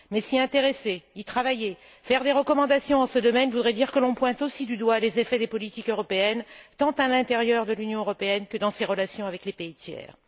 Mais s'y intéresser, y travailler, formuler des recommandations dans ce domaine voudrait dire que l'on pointe aussi du doigt les effets des politiques européennes, tant à l'intérieur de l'Union européenne que dans ses relations avec les pays tiers.